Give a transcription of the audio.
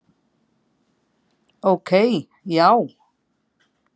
Ok, já?